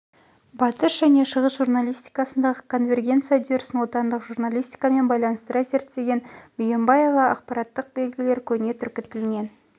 батыс және шығыс журналистикасындағы конвергенция үдерісін отандық журналистикамен байланыстыра зерттеген бүйенбаева ақпараттық белгілер көне түркі тілінен